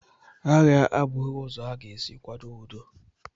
Agha a bụghị ụzọ a ga-esi kwado udo.